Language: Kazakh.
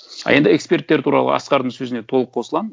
а енді эксперттер туралы асқардың сөзіне толық қосыламын